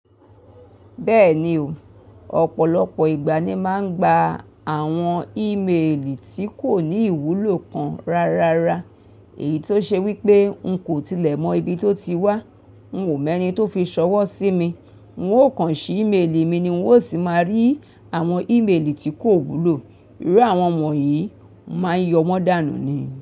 Bẹ́ẹ̀ni o, ọ̀pọ̀lọpọ̀ ìgbà ni máa ń gba àwọn ímeèlì tí kò ní ìwúlò kan rárá. Èyí tó ṣe wípé n kò tilẹ̀ mọ ibi tó ti wá, n kò mọ ẹni tó fi ṣọwọ́ sí mi, n ó kan ṣe ímeèlì mi ni wọn ó sì máa rí àwọn ímeèlì tí kò wúlò. Irú àwọn won yìí, mo máa ń yọ wọ́n dànù ni.